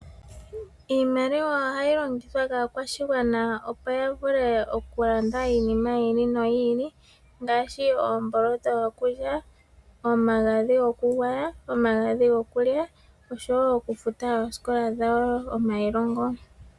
Iimaliwa ohayi longithwa kaakwashigwana opo ya vule okulanda iinima yi ili no yi ili. Ngaashi oomboloto dhokulya , omagadhi go ku gwaya ,omagadhi go kulya osho woo okufuta oosikola dhawo, oma ilongo.